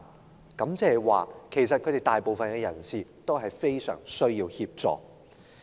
換言之，其實當中大部分人士非常需要協助。